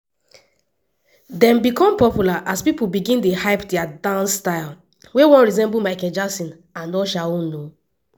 dem become popular as pipo begin dey hype dia dance style wey wan resemble michael jackson and usher own.